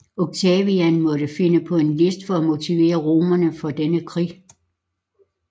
Octavian måtte finde på en list for at motivere romerne for denne krig